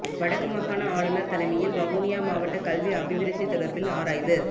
வடக்கு மாகாண ஆளுனர் தலைமையில் வவுனியா மாவட்ட கல்வி அபிவிருத்தி தொடர்பில் ஆராய்வு